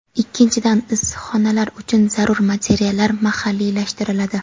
Ikkinchidan, issiqxonalar uchun zarur materiallar mahalliylashtiriladi.